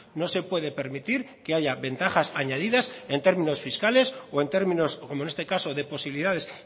no se puede permitir que haya ventajas añadidas en términos fiscales o en términos como en este caso de posibilidades